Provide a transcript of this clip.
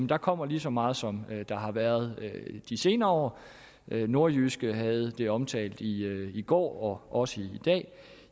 der kommer lige så meget som der har været de senere år nordjyske havde det omtalt i i går og også i dag